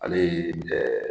Ale ye dɛ